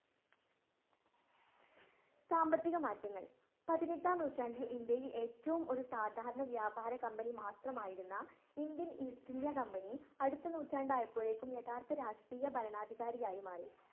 സാമ്പത്തിക മാറ്റങ്ങൾ. പതിനെട്ടാം നൂറ്റാണ്ടിൽ ഇന്ത്യയിൽ ഏറ്റവും ഒരു സാധാരണ വ്യാപാര കമ്പനി മാത്രമായിരുന്ന ഇന്ത്യൻ ഈസ്റ്റ് ഇന്ത്യൻ കമ്പനി അടുത്ത നൂറ്റാണ്ടായപ്പോഴേക്കും യഥാർത്ത രാഷ്ട്രീയ ഭരണാധികാരിയായി മാറി.